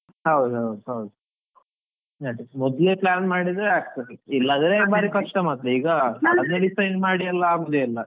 ಹೌದ್ ಹೌದ್ ಹೌದ್, ಅದೇ ಮೊದ್ಲೇ plan ಮಾಡಿದ್ರೆ ಆಗ್ತದೆ ಇಲ್ಲಾದ್ರೆ ಭಾರೀ ಕಷ್ಟ ಮಾತ್ರ ಈಗ ಮಾಡಿ ಎಲ್ಲಾ ಆಗೋದೇ ಇಲ್ಲ.